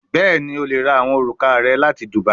Bẹẹni, o le ra awọn oruka rẹ lati dubia